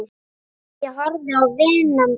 Ég horfði á vini mína.